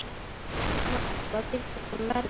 Magnús: Hvað finnst ykkur um veðrið?